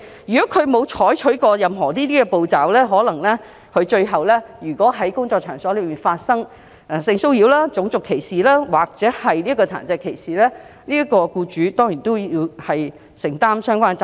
如果他們沒有採取任何切實可行的步驟，而工作場所最終發生性騷擾、種族歧視或殘疾歧視事故，他們便要承擔轉承責任。